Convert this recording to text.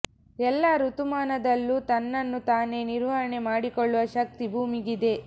ಎಲ್ಲ ಋತುಮಾನದಲ್ಲೂ ತನ್ನನ್ನು ತಾನೇ ನಿರ್ವಹಣೆ ಮಾಡಿಕೊಳ್ಳುವ ಶಕ್ತಿ ಭೂಮಿಗೆ ಇದೆ